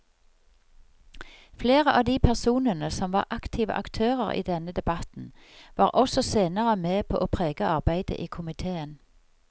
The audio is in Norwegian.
Flere av de personene som var aktive aktører i denne debatten var også senere med på å prege arbeidet i komiteen.